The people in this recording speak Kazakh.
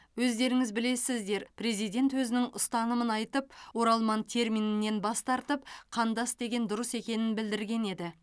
өздеріңіз білесіздер президент өзінің ұстанымын айтып оралман терминінен бас тартып қандас деген дұрыс екенін білдірген еді